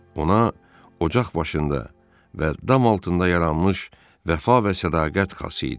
Ona ocaq başında və dam altında yaranmış vəfa və sədaqət xası idi.